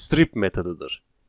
Strip metodudur.